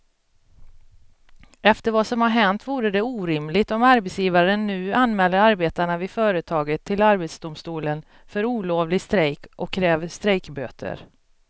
Efter vad som har hänt vore det orimligt om arbetsgivaren nu anmäler arbetarna vid företaget till arbetsdomstolen för olovlig strejk och kräver strejkböter.